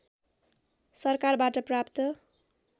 सरकारबाट प्राप्त